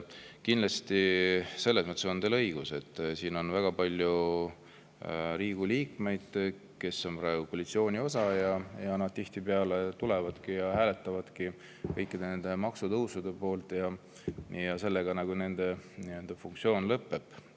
Kindlasti on teil selles mõttes õigus, et siin on väga palju Riigikogu liikmeid, kes on praegu koalitsioonis ning tihtipeale tulevad ja hääletavad kõikide maksutõusude poolt, ja sellega nende funktsioon nagu lõpeb.